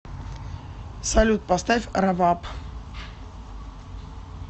салют поставь раваб